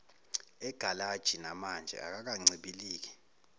egalaji namanje akakancibiliki